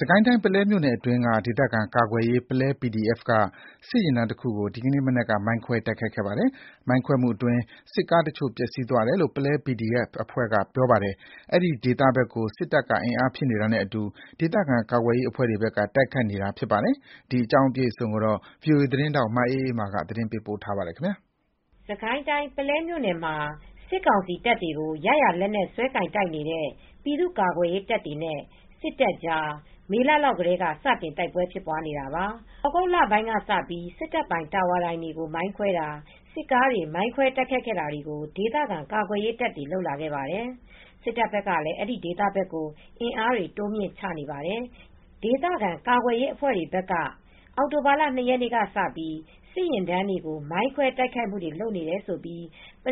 စစ်ကိုင်းတိုင်း ပုလဲမြို့နယ်အတွင်းက ဒေသခံကာကွယ်ရေး ပုလဲ PDF က စစ်ယာဉ်တန်းတခုကို ဒီနေ့ မနက်က မိုင်းခွဲတိုက် ခိုက်ခဲ့ပါတယ်။ မိုင်းခွဲမှုအတွင်း စစ်ကားတချို့ပျက်စီးသွားတယ်လို့ ပုလဲ PDF အဖွဲ့ဘက်ကပြောပါတယ်။ အဲဒီဒေသဘက်ကို စစ်တပ်က အင်အားဖြည့်နေတာနဲ့အတူ ဒေသခံကာကွယ်ရေးအဖွဲ့တွေဘက်က တိုက်ခိုက်နေတာဖြစ်ပါတယ်။ ဗွီအိုအေ သတင်းထောက် မအေးအေးမာက အပြည့်အစုံ တင်ပြပေးထားပါတယ်။ စစ်ကိုင်းတိုင်း ပုလဲမြို့နယ်မှာ စစ်ကောင်စီတပ်တွေကို ရရာလက်နက်စွဲကိုင်တိုက်နေတဲ့ ပြည်သ့ူကာကွယ်ရေးတပ်တွေနဲ့ စစ်တပ်ကြား မေလလောက်ထဲက စတင် တိုက်ပွဲတွေဖြစ်နေတာပါ။ သြဂုတ်လပိုင်းလောက်ကစပြီး စစ်တပ်ပိုင် တာဝါတိုင်တွေ မိုင်းခွဲတာ၊ စစ်ကားတွေ မိုင်းခွဲတိုက်ခိုက်တာတွေကို ဒေသခံကာကွယ်ရေးတပ်တွေ လုပ်လာခဲ့ပါတယ်။ စစ်တပ်ဘက်ကလည်း အဲဒီဒေသဘက်ကို အင်အားတွေ တိုးမြှင့်ချနေပါတယ်။ ဒေသခံကာကွယ်ရေးအဖွဲ့တွေဘက်က အောက်တိုဘာ ၂ ရက်နေ့ကစပြီး စစ်ယာဉ်တန်းတွေကို မိုင်းခွဲတိုက်ခိုက်နေတယ်လို့ ပု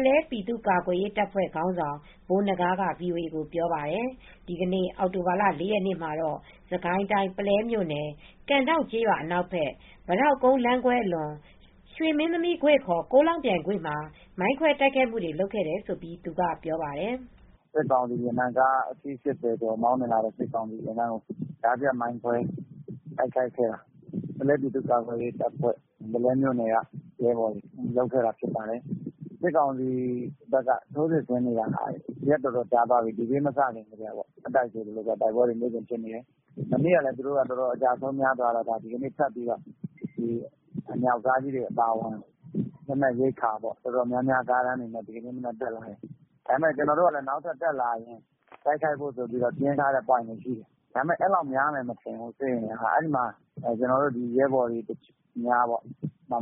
လဲပြည်သူကာကွယ်ရေးတပ်ဖွဲ့ ခေါင်းဆောင်ဗိုလ်နဂါးက VOA ကိုပြောပါတယ်။ ဒီနေ့ အောက်တိုဘာ ၄ ရက်မှာတော့ စစ်ကိုင်တိုင်း၊ ပုလဲမြို့နယ်၊ ကန်ဒေါင့်ကျေးရွာအနောက်ဘက် ပိတောက်ကုန်းလမ်းခွဲအလွန် ရွှေမင်းသမီးကွေ့ (ခ) ကိုးလောင်ပြိုင်ကွေ့မှာ မိုင်းခွဲတိုက်ခိုက်ခဲ့တယ်လို့ သူကပြောပါတယ်။ “စစ်ကောင်စီယာဉ်တန်းကား ၈၀ ကျော် မောင်းနှင်လာတုန်း ကြားဖြတ်ပြီး မိုင်းခွဲတိုက်ခိုက်ခဲ့တာ။ ပုလဲပြည်သူ့ကာကွယ်ရေးတပ်ဖွဲ ၊ ပုလဲမြို့နယ်ကရဲဘော်တွေ လုပ်ခဲ့တာဖြစ်ပါတယ်။ စစ်ကောင်စီဘက်က ထိုးစစ်ဆင်နေတာက ရက်အတော်ကြာသွားပြီ။ D Day မစခင် မတိုင်ခင်ကတည်းက တိုက်ပွဲတွေဖြစ်နေတယ်။ မနေ့ကလည်း သူတို့က အကျဆုံးများသွားတော့ အမြောက်ကားကြီးတွေအပါအဝင် လက်နက်ရိက္ခာတော်တော်များများ ကားတန်းတွေနဲ့ ဒီနေ့ မနက်တက်လာတယ်။ ကျနော်တို့ကလည်း နောက်ထပ်တက်လာရင် ပြင်ထားဖို့ ပွိုင့်တွေရှိတယ်။ ဒါပေမယ့် အဲဒီလောက်များမယ်မထင်ဘူး။ စစ်အင်အားက။ ကျနော်တို့ရဲဘော်တွေက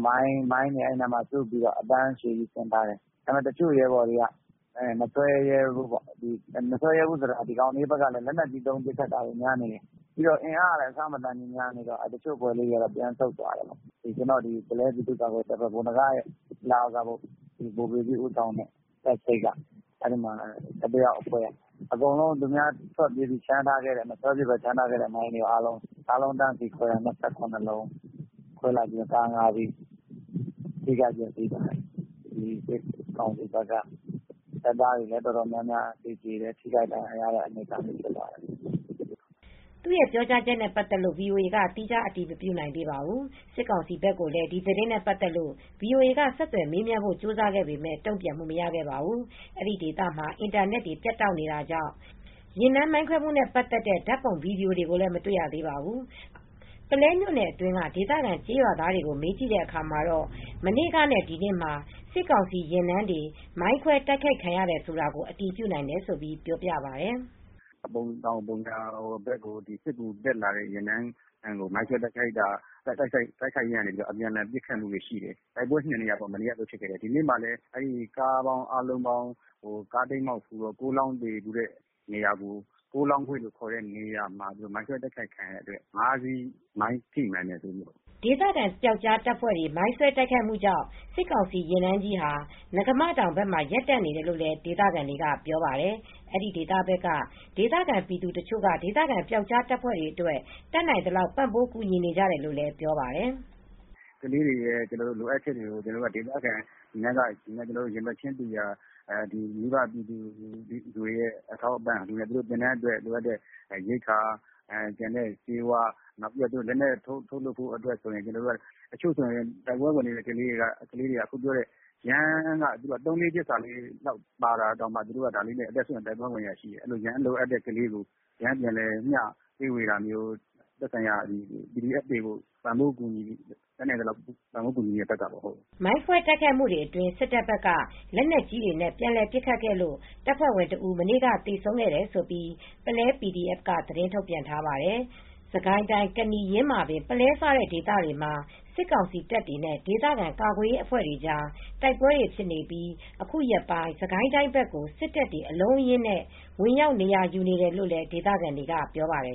မိုင်းတွေစုပြီး အတန်းအရှည်ကြီး ဆင်ထားတယ်။ ဒါပေမယ့် တချို့ရဲဘော်တွေက မဆွဲရဲဘူး။ မဆွဲရဲဘူးဆိုတာကတော့ ဒီကောင်တွေဘက်ကလည်း လက်နက်ကြီးနဲ့ ပစ်တာများနေတယ်။ အင်အားကလည်း အဆမတန်များနေတော့ တချို့အဖွဲ့လေးတွေက ပြန်ဆုတ်သွားတယ်။ ကျနော်တို့ ပုလဲ ပြည်သူ့ကာကွယ်ရေးတပ် ဗိုလ်နဂါးလက်အောက်က ဗိုလ်ပေကြီးဦးဆောင်တဲ့ တပ်စိပ် ၁၁ ယောက်အဖွဲ့က အကုန်လုံး သူများထွက်ပြေးပြီး မဆွဲဖြစ်ဘဲ ချန်ထားခဲ့တဲ့မိုင်းတွေအားလုံးကို တန်းစီးခွဲတာ။ ၂၇ လုံး ခွဲလိုက်ပြီး ကား ၅ စီးထိခိုက်ပျက်စီးသွားတယ်။ စစ်ကောင် စီဘက်က တော်များများတပ်သားတွေလည်း သေကြတယ်။ ထိခိုက်ဒဏ်ရာရတဲ့အနေအထားလည်း ဖြစ်သွားတယ်။” သူ့ပြောကြားချက်နဲ့ ပတ်သက်လို့ ဗွီအိုအေက သီးခြား အတည်မပြုနိုင်ပါဘူး။ စစ်ကောင်စီဘက်ကိုလည်း ဒီသတင်းနဲ့ ပတ်သက်လို့ ဗီအိုအေက ဆက်သွယ်မေးမြန်းဖို့ ကြိုးစားခဲ့ပေမယ့် တုံ့ပြန်မှု မရခဲ့ပါဘူး။ အဲဒီဒေသမှာ အင်တာနက်တွေ ပြတ်တောက်နေတာကြောင့်ယာဉ်တန်းမိုင်းခွဲမှုနဲ့ပတ်သက်တဲ့ ဓါတ်ပုံ၊ ဗီဒီယိုတွေကိုလည်း မတေ့ွရသေးပါဘူး။ ပုလဲမြို့နယ်အတွင်းက ဒေသခံကျေးရွာသားတွေကို မေးကြည့်ခဲ့ရာမှာတော့ မနေ့ကနဲ့ ဒီနေ့မှာ စစ်ကောင်စီယာဉ်တန်းတွေ မိုင်းခွဲတိုက်ခိုက်ခံရတယ်ဆိုတာကို အတည်ပြုနိုင်တယ်လို့ ပြောပါတယ်။ “ပုံတောင်ပုံညာဘက်ကို စစ်ကူတက်လာတဲ့ကားတန်းကို မိုင်းခွဲတိုက်ခိုက်ခဲ့လို့ အပြန်အလှန် တိုက်ပွဲဖြစ်တာတွေရှိတယ်။ တိုက်ပွဲ ၂ နေရာပေါ့။ မနေ့ကလည်း ဖြစ်တယ်။ ဒီနေ့မှာလည်း ကားတိမ်းမှောက်ဖူးတဲ့ ကိုးလောင်းကွေ့ဆိုတဲ့နေရာမှာ မိုင်းခွဲတိုက်ခိုက်ခဲ့လို့ ကား ၅ စီးထိမှန်တယ်လို့သိရတယ်။” ဒေသခံပျောက်ကြားတပ်ဖွဲ့တွေမိုင်းဆွဲတိုက်ခိုက်မူကြောင့် စစ်ကောင်စီယာဉ်တန်းကြီးဟာ နဂါးမတောင်ဘက်မှာ ရပ်တန့် နေတယ်လို့လည်း ဒေသခံတွေက ပြောပါတယ်။ အဲဒီဘက်က ဒေသခံပြည်သူတချို့က ဒေသခံပျောက်ကြားတပ်ဖွဲ့တွေအတွက် တတ်နိုင်သလောက် ပံ့ပိုးကူညီနေကြတယ်လို့လည်းပြောပြပါတယ်။ “ကလေးတွေရဲ့လိုအပ်ချက်တွေကို ဒေသခံတွေ၊ ရင်ဘတ်တူရာ မိဘပြည်သူတွေက သင်တန်းအတွက် ဆေးဝါးရိက္ခာအထောက်အပံ့တွေ ပေးတယ်။ လက်နက်ထုတ်လုပ်ဖို့အတွက် တချို့ဆိုရင် တိုက်ပွဲဝင်တဲ့ကလေးတွေက ယမ်းတွေ သုံးလေး ပစ်စာလောက်နဲ့ကို အသက်စွန့်ပြီးတိုက်ပွဲဝင်နေတာ ယမ်းလိုအပ်တဲ့ကလေးတွေကို ယမ်းမျှဝေပြီး ကူညီနေတာမျိုး သက်ဆိုင်ရာ PDF တွေကို တတ်နိုင်သလောက် ပံ့ပိုးကူညီတာမျိုးလုပ်တဲ့ဘက်ကပေါ့။” မိုင်းခွဲတိုက်ခိုက်မှုအတွင်း စစ်တပ်ဘက်က လက်နက်ကြီးနဲ့ ပြန်လည်ပစ်ခတ်လို့ တပ်ဖွဲဝင်တဦး မနေ့က သေဆုံးခဲ့တယ် လို့ ပုလဲ PDF က သတင်းထုတ်ပြန်ထားပါတယ်။ စစ်ကိုင်းတိုင်း ကနီ၊ ယင်းမာပင်၊ ပုလဲစတဲ့ ဒေသတွေမှာ စစ်ကောင်စီတပ်တွေနဲ့ ဒေသခံကာကွယ်ရေးအဖွဲ့တွေကြား တိုက်ပွဲတွေ ဖြစ်နေပြီး အခုရက်ပိုင်း စစ်ကိုင်းတိုင်းဘက်ကို စ စ်တပ်တွေ အလုံးအရင်းနဲ့ ဝင်ရောက် နေရာယူနေတယ်လို့ ဒေသခံတွေက ပြောပါတယ်